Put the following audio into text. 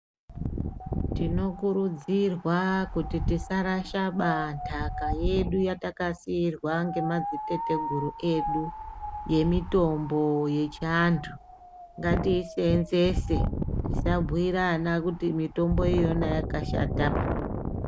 Tinokurudzirwa kuti tisarasha baa ndaka yedu yatakasiirwa ngemadziteteguru edu yemitombo yechivantu ngatiiseenzese tisabhuyira vana kuti mitombo iyoyo yakashata pii.